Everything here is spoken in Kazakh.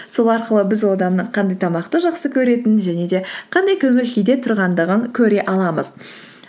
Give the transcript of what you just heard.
сол арқылы біз одан қандай тамақты жақсы көретінін және де қандай көңіл күйде тұрғандығын көре аламыз